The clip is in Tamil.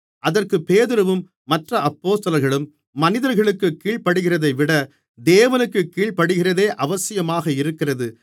அதற்கு பேதுருவும் மற்ற அப்போஸ்தலர்களும் மனிதர்களுக்குக் கீழ்ப்படிகிறதைவிட தேவனுக்குக் கீழ்ப்படிகிறதே அவசியமாக இருக்கிறது